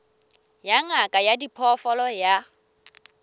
ya ngaka ya diphoofolo ya